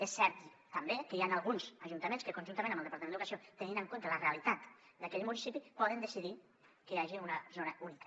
és cert també que hi han alguns ajuntaments que conjuntament amb el departament d’educació tenint en compte la realitat d’aquell municipi poden decidir que hi hagi una zona única